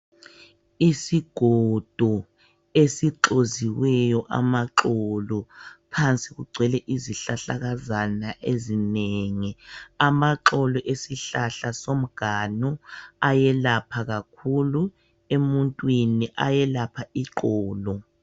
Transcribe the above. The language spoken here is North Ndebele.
Isigodo esixoziweyo amaxolo. Phansi kugcwele izihlahlakazana ezinengi. Amaxolo esihlahla somganu ayelapha kakhulu emuntwini ayelapha iqolo.